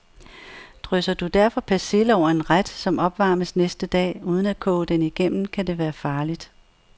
Drysser du derfor persille over en ret, som opvarmes næste dag, uden at koge den igennem, kan det være farligt.